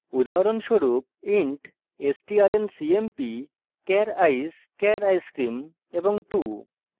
উদাহরণস্বরূপ int strncmp char ice char icecream 2;